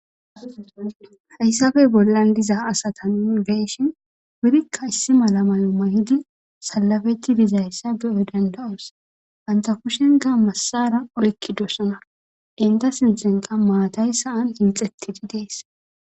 Haysappe bollan diza asata nuni beyishin wurika issi mala mayo mayidi salafeti dizaysa beyo danda'os banta kushenika madara oykidoba enta sinthanka maatay sa'an miccetidi de'es.